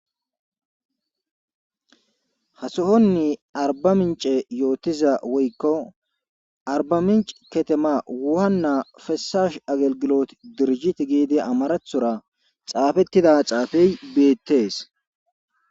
ha sohonni arba mince yootiza woykko arba mince ketema wuhanna fesash agelgilot dirjit giidi amarathora xaafettida xaafey beettees